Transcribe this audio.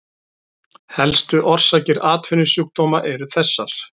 Helstu orsakir atvinnusjúkdóma eru þessar